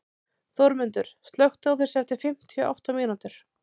Þórmundur, slökktu á þessu eftir fimmtíu og átta mínútur.